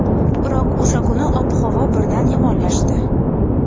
Biroq o‘sha kuni ob-havo birdan yomonlashdi.